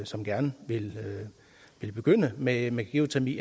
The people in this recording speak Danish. som gerne vil begynde med med geotermi